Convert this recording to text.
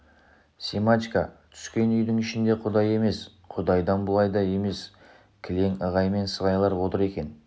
семашко түскен үйдің ішінде құдай емес құдайдан былай да емес кілең ығай мен сығайлар отыр екен